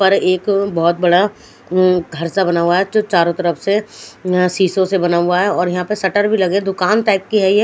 उपर एक बोहोत बड़ा अम्म घर सा बना हुआ है जो चारो तरफ से अ सिसो से बना हुआ है और यहा पे शटर भी लगे दूकान टाइप की है ये--